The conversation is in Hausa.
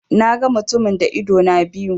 Na ga mutumin da idona biyu.